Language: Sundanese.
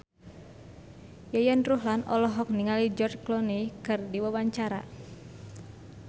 Yayan Ruhlan olohok ningali George Clooney keur diwawancara